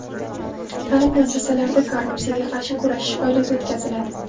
Ta’lim muassasalarida korrupsiyaga qarshi kurashish oyligi o‘tkaziladi.